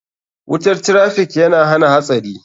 Wutar traffiikyana hana hatsari.